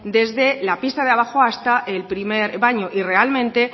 desde la pista de abajo hasta el primer baño y realmente